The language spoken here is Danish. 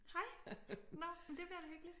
Hej nåh men det bliver da hyggeligt